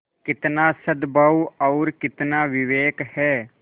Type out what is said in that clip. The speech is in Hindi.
कितना सदभाव और कितना विवेक है